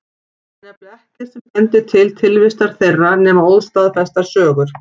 Það er nefnilega ekkert sem bendir til tilvistar þeirra nema óstaðfestar sögur.